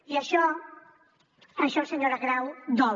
i això senyora grau dol